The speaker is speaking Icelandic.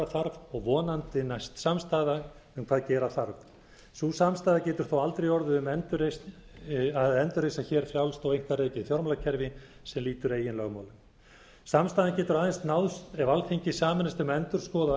þarf og vonandi næst samstaða um hvað gera þarf sú samstaða getur þó aldrei orðið um að endurreisa frjálst og einkarekið fjármálakerfi sem lýtur eigin lögmálum samstaðan getur aðeins náðst ef alþingi sameinast um að endurskoða og